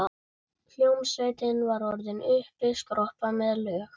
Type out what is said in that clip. Hljómsveitin var orðin uppiskroppa með lög.